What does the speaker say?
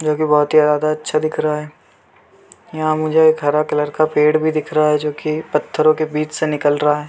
जो की बहोत ज्यादा अच्छा दिख रहा है यहाँ मुझे एक हरा कलर का पेड़ भी दिख रहा है जो की पत्थरो के बीच से निकल रहा है।